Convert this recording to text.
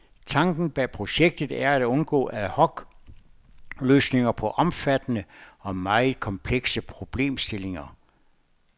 Tanken bag projektet er at undgå ad hoc løsninger på omfattende og meget komplekse problemstillinger.